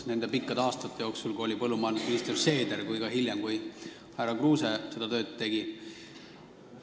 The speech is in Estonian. Nende pikkade aastate jooksul, kui põllumajandusminister oli härra Seeder, aga ka hiljem, kui härra Kruuse seda tööd tegi, Eestis põllumajandust alati toetati.